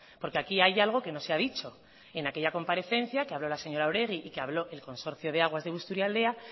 porque aquí hay algo que no se ha dicho en aquella comparecencia que habló la señora oregi y que habló el consorcio de aguas de busturealdea